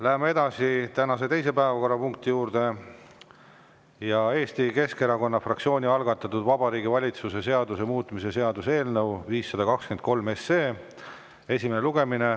Läheme edasi tänase teise päevakorrapunkti juurde: Eesti Keskerakonna fraktsiooni algatatud Vabariigi Valitsuse seaduse muutmise seaduse eelnõu 523 esimene lugemine.